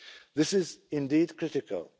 and public support. This